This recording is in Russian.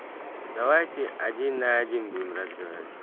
давайте один на один будем разговаривать